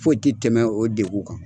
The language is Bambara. Foyi ti tɛmɛn o degun kan